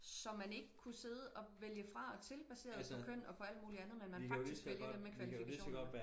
Så man ikke kunne sidde og vælge fra og til baseret på køn og på alt muligt andet men man faktisk vælger dem med kvalifikationerne